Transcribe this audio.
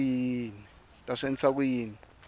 ta swi endlisa ku yini